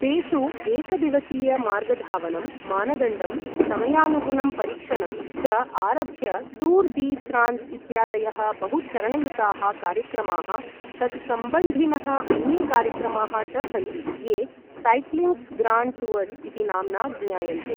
तेषु एकदिवसीयमार्गधावनं, मानदण्डं, समयानुगुणं परीक्षणं च आरभ्य टूर् डी फ्रांस् इत्यादयः बहु चरणयुताः कार्यक्रमाः तत्सम्बन्धिनः अन्ये कार्यक्रमाः च सन्ति ये सायक्लिङ्ग्स् ग्राण्ड् टूअर्स् इति नाम्ना ज्ञायन्ते।